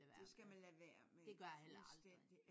Det skal man lade være med fuldstændigt